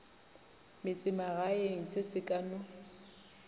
metsemagaeng se se ka no